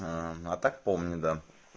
аа а так помню да